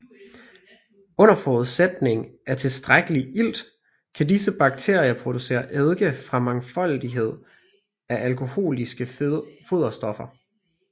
Under forudsætning af tilstrækkelig ilt kan disse bakterier producere eddike fra en mangfoldighed af alkoholiske foderstoffer